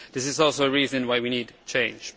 This is also a reason why we need change.